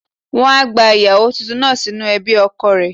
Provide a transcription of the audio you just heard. Wọ́n á gba ìyàwó tuntun náà sínú ẹbí ọkọ rẹ̀.